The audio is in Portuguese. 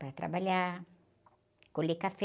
Para trabalhar, colher café.